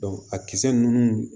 a kisɛ ninnu